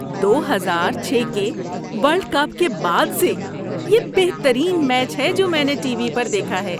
دو ہزار چھ کے ورلڈ کپ کے بعد سے یہ بہترین میچ ہے جو میں نے ٹی وی پر دیکھا ہے۔